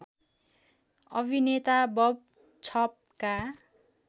अभिनेता बब छपका